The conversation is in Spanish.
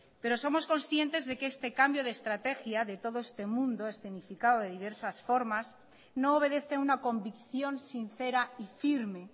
pero somos conscientes de que este cambio de estrategia de todo este mundo escenificado de diversas formas no obedece una convicción sincera y firme